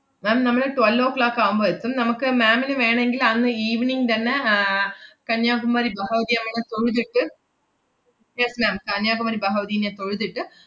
ma'am നമ്മള് twelve oh clock ആവുമ്പോ എത്തും നമ്മുക്ക് ma'am ന് വേണെങ്കില്‍ അന്ന് evening തന്നെ ആഹ് കന്യാകുമാരി ബഹവതി അമ്മൻ കോവില്ക്ക് yes ma'am കന്യാകുമരി ബഹവതീനെ തൊഴുതിട്ട്,